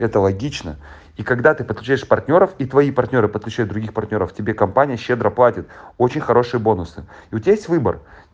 это логично и когда ты подключаешь партнёров и твои партнёры подключают других партнёров тебе компания щедро платит очень хорошие бонусы и у тебя есть выбор